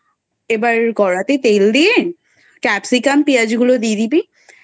এবার কড়াতে তেল দিয়ে Capsicam পেঁয়াজ গুলো দিয়ে দিবি